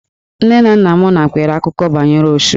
Nne na nna m nakweere akụkọ banyere Osu.